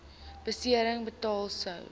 besering betaal sou